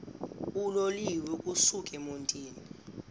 uloliwe ukusuk emontini